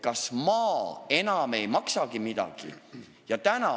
Kas maa enam ei maksagi midagi?